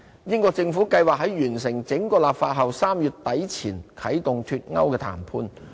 英國政府計劃在完成整個立法後 ，3 月底前啟動"脫歐"談判。